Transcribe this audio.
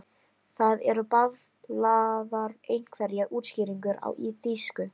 Það eru bablaðar einhverjar útskýringar á þýsku.